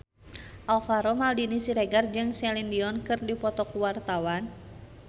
Alvaro Maldini Siregar jeung Celine Dion keur dipoto ku wartawan